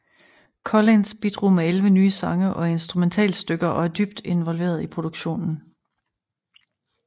Collins bidrog med elleve nye sange og instrumentalstykker og var dybt involveret i produktionen